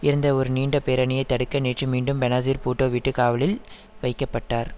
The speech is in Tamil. இருந்த ஒரு நீண்ட பேரணியை தடுக்க நேற்று மீண்டும் பெனாசீர் பூட்டோ வீட்டு காவலில் வைக்க பட்டார்